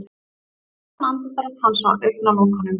Léttan andardrátt hans á augnalokunum.